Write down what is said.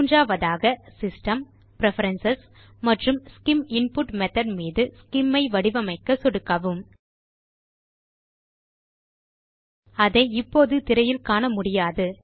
மூன்றாவதாக system preferences மற்றும் SCIM input method மீது ஸ்சிம் ஐ வடிவமைக்க சொடுக்கவும் அதை இப்போது திரையில் காண முடியாது